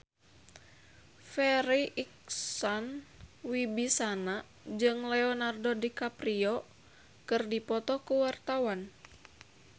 Farri Icksan Wibisana jeung Leonardo DiCaprio keur dipoto ku wartawan